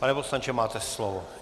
Pane poslanče, máte slovo.